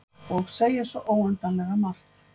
Og segja svo óendanlega margt.